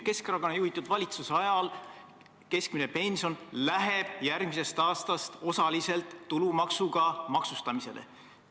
Keskerakonna juhitud valitsuse ajal läheb keskmine pension järgmisest aastast osaliselt tulumaksuga maksustamisele.